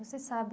Você sabe